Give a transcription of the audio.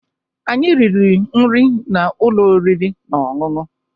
Anyị riri nri na ụlọ oriri na ọṅụṅụ